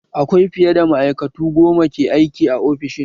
Akwai fiye da ma'aikatu goma ke aiki a ofishin